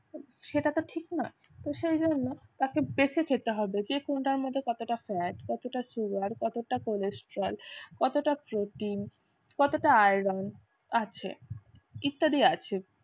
সেটা তো ঠিক নয়। তো সেজন্য তাকে বেছে খেতে হবে যে কোনটার মধ্যে কতটা fat কতটা sugar কতটা cholesterol কতটা protein কতটা iron আছে। ইত্যাদি আছে।